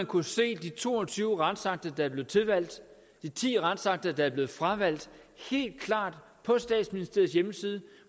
kunne se de to og tyve retsakter der blev tilvalgt de ti retsakter der blev fravalgt på statsministeriets hjemmeside